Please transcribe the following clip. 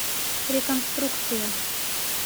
реконструкция